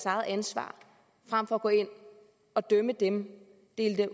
eget ansvar frem for at gå ind og dømme dem